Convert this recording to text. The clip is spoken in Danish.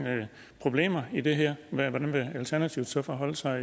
problemer i det her hvordan vil alternativet så forholde sig